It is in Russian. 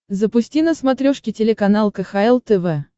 запусти на смотрешке телеканал кхл тв